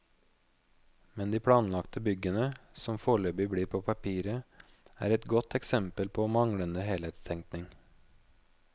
Men de planlagte byggene, som foreløpig blir på papiret, er et godt eksempel på manglende helhetstenkning.